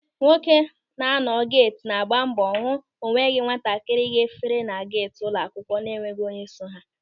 Nwoke na-anọ geeti na-agba mbọ hụ o nweghị nwatakịrị ga-fere na geeti ụlọ akwụkwọ na enweghị onye so ha.